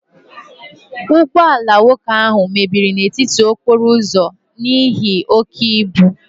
Ụgbọ ala nwoke ahụ mebiri n'etiti okporo ụzọ n'ihi oke ibu